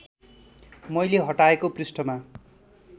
मैले हटाएको पृष्ठमा